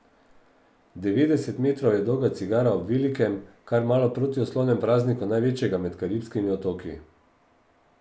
Devetdeset metrov je dolga cigara ob velikem, kar malo protislovnem prazniku največjega med karibskimi otoki.